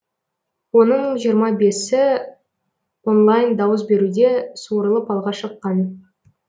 оның жиырма бесі онлайн дауыс беруде суырылып алға шыққан